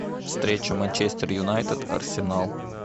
встреча манчестер юнайтед арсенал